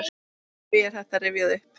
Hví er þetta rifjað upp?